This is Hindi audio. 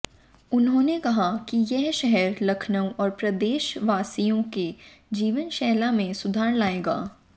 उन्होंने कहा कि ये शहर लखनऊ और प्रदेश वासियों की जीवन शैली में सुधार लाएगा